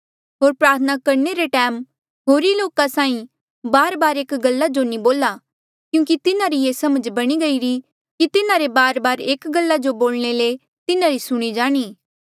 होर प्रार्थना करणे रे टैम होरी लोका साहीं बारबार एक गल्ला जो नी बोला क्यूंकि तिन्हारी ये समझ बणी गईरी कि तिन्हारे बारबार एक गल्ला जो बोलणे ले तिन्हारी सुणी जाणी